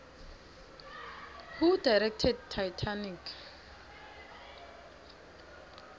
who directed titanic